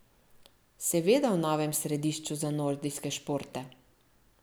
Seveda v novem središču za nordijske športe.